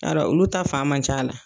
Yarɔ olu ta fangan man c'a la.